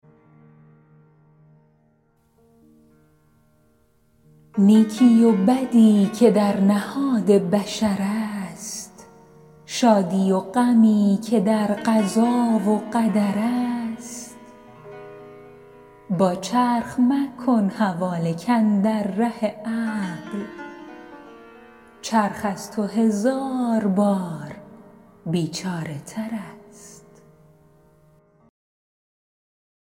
نیکی و بدی که در نهاد بشر است شادی و غمی که در قضا و قدر است با چرخ مکن حواله کاندر ره عقل چرخ از تو هزار بار بیچاره تر است